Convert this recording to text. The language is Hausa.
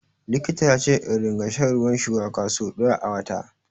Likita ya ce in ringa shan ruwan shuwaka so ɗaya a wata.